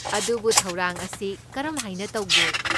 ꯑꯗꯨꯕꯨ ꯊꯧꯔꯥꯡ ꯑꯁꯤ ꯀꯔꯝꯍꯥꯏꯅ ꯇꯧꯒꯦ?